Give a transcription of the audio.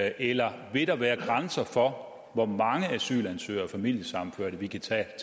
eller vil der være grænser for hvor mange asylansøgere og familiesammenførte vi kan tage